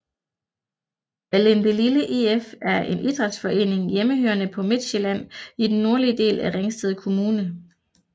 Allindelille IF er en idrætsforening hjemmehørende på Midtsjælland i den nordlige del af Ringsted Kommune